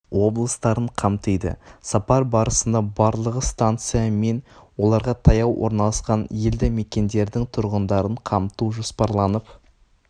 облыстарын қамтиды сапар барысында барлығы станция мен оларға таяу орналасқан елді мекендердің тұрғындарын қамту жоспарланып